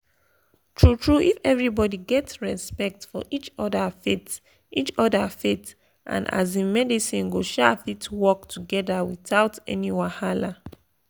true true if everybody get respect for each other faith each other faith and um medicine go um fit work together without any wahala.